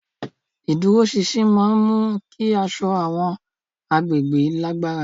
Ìdúróṣinṣin máa ń mú kí aṣọ àwọn agbègbè lágbára.